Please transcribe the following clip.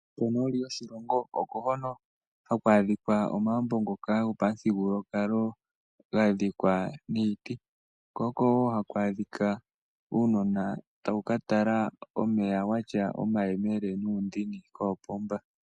Konooli yoshilongo oko hono hakwadhika omaambo ngoka gopa muthigululwakalo gadhikwa niiti. Ko oko woo hakwadhika uunona tawu katala omeya watya omayemele nuundini koopomba.